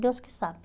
Deus que sabe.